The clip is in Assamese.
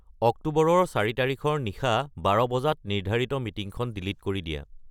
অক্টোবৰৰ চাৰি তাৰিখৰ নিশা বাৰ বজাত নিৰ্ধাৰিত মিটিংখন ডিলিট কৰি দিয়া